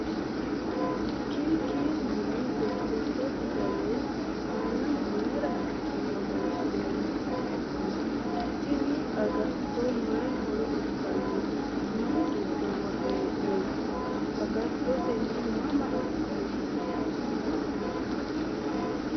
KK yine jajjaba fidaleyi aanaho mayiinara hasi'ne borreessinoyi? Tini agattonno maayi horo uyiitanno? Mayii giddo worre hee'noyi? Agatto tenne mama afi'nayi?